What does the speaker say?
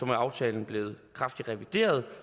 med aftalen blevet kraftigt revideret